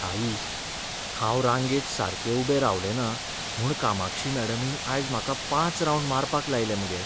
आई, हांव रांगेंत सारकें उबें रावलें ना म्हूण कामाक्षी मॅडमीन आयज म्हाका पांच रावंड मारपाक लायले मगे.